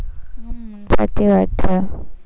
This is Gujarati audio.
સાચી વાત છે.